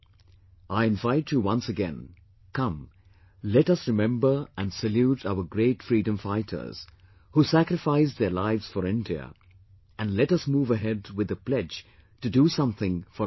I invite you once again, come, let us remember and salute our great freedom fighters, who sacrificed their lives for India and let us move ahead with the pledge to do something for our nation